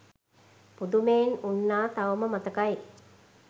පුදුමයෙන් උන්නා තවම මතකයි.